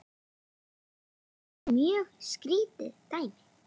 Ísland var mjög skýrt dæmi.